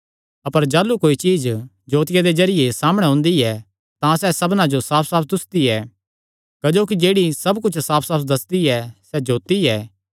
अपर जाह़लू कोई चीज्ज जोतिया दे जरिये सामणै ओंदी ऐ तां सैह़ सबना जो साफसाफ दुस्सदी ऐ क्जोकि जेह्ड़ी सब कुच्छ साफसाफ दस्सदी ऐ सैह़ जोत्ती ऐ